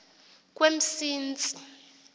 kwemsintsi